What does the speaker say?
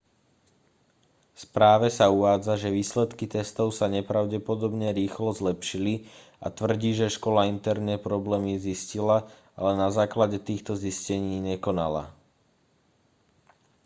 v správe sa uvádza že výsledky testov sa nepravdepodobne rýchlo zlepšili a tvrdí že škola interne problémy zistila ale na základe týchto zistení nekonala